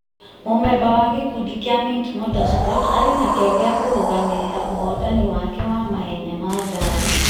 Mũmemba wa gĩkundi kĩa Minti Motorsport arĩ na kĩyo gĩa kũrũgamĩrĩra ũhootani wake wa mahenya ma ngari ,